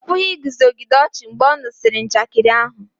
ọ pụghị iguzogide ọchị mgbe ọ nụsịrị njakịrị ahu